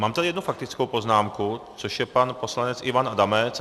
Mám tady jednu faktickou poznámku, což je pan poslanec Ivan Adamec.